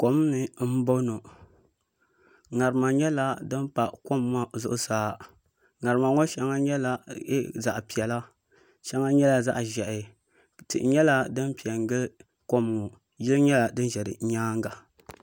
Kom ni n boŋo ŋarima. nyɛla din pa kom ŋo zuɣusaa ŋarima ŋo shɛŋa nyɛla zaɣ piɛla shɛŋa nyɛla zaɣ ʒiɛhi tihi nyɛla din piɛ n gili kom ŋo yiya nyɛla din ʒɛ di nyaanga